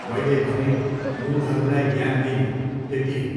मैले भनेँ मुढहरूलाई ज्ञान दिने, त्यति हो।